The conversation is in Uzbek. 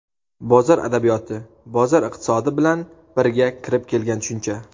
"Bozor adabiyoti" bozor iqtisodi bilan birga kirib kelgan tushuncha.